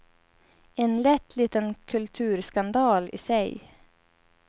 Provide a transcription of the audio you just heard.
En lätt liten kulturskandal i sig.